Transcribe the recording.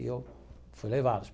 E eu fui levá-los.